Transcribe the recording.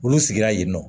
Olu sigira yen nɔ